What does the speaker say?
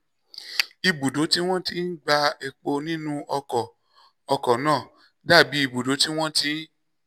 ibùdó tí wọ́n ti ń gba epo nínú ọkọ̀ ọkọ̀ náà dà bí ibùdó tí wọ́n ti